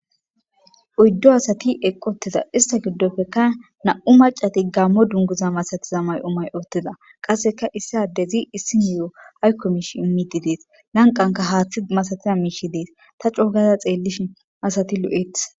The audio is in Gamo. Uyddo asati eqqoteza ista giddofekka na'u macati gaammo dunguza masatiza may7omay oottiza qasseka issadezi issi ni7o haykko miish immiti dees lanqanka haaththi masatiya miishi dees ta coogaza xeellishi asati lo'eth.